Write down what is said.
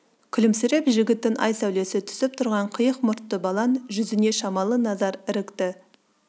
күлімсіреп жігіттің ай сәулесі түсіп тұрған қиық мұртты балаң жүзіне шамалы назар ірікті